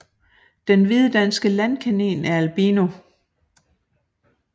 Den hvide danske landkanin er albino